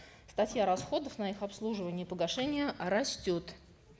статья расходов на их обслуживание и погашение растет